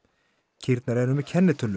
kýrnar eru með kennitölu